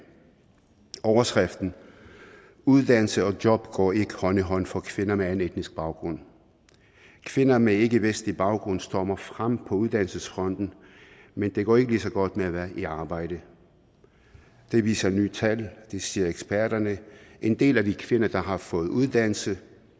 overskriften uddannelse og job går ikke hånd i hånd for kvinder med anden etnisk baggrund kvinder med ikke vestlig baggrund stormer frem på uddannelsesfronten men det går ikke lige så godt med at være i arbejde det viser nye tal det siger eksperterne en del af de kvinder der har fået uddannelse